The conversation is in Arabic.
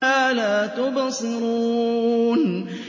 وَمَا لَا تُبْصِرُونَ